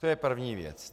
To je první věc.